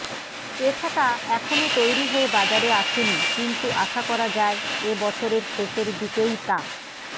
এ ছাতা এখনও তৈরি হয়ে বাজারে আসেনি কিন্তু আশা করা যায় এবছরের শেষের দিকেই তা